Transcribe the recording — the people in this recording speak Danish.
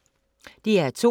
DR2